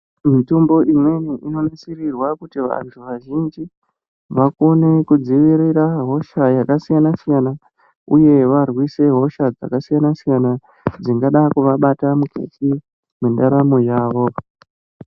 Mitombo imweni inonasirirwa kuti vanthu vazhinji vakone kudzivirira hosha yakasiyana siyana uye varwise hosha dzakasiyana siyana dzingada kuvabata mukati mwendaramo yavo.